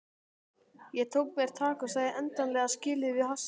Ég tók mér tak og sagði endanlega skilið við hassið.